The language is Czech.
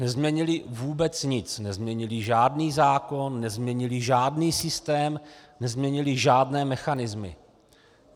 Nezměnili vůbec nic, nezměnili žádný zákon, nezměnili žádný systém, nezměnili žádné mechanismy.